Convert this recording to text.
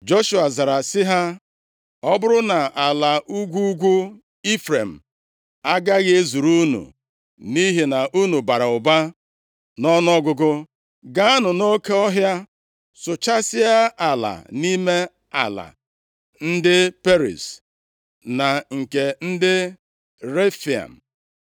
Joshua zara sị ha: “Ọ bụrụ na ala ugwu ugwu Ifrem agaghị ezuru unu nʼihi na unu bara ụba nʼọnụọgụgụ, gaanụ nʼoke ọhịa sụchasịa ala, nʼime ala ndị Periz, na nke ndị Refaim.”